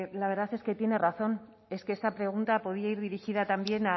la verdad es que tiene razón es que esta pregunta podía ir dirigida también